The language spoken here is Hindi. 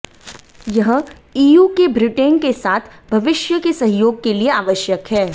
यह ईयू के ब्रिटेन के साथ भविष्य के सहयोग के लिए आवश्यक है